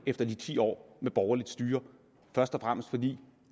efter de ti år med borgerligt styre først og fremmest fordi